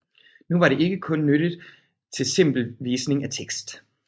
Nu var det ikke kun nyttigt til simpel visning af tekst